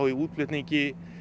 í útflutningi